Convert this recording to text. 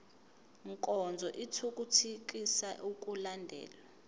nkonzo ithuthukisa ukulandelwa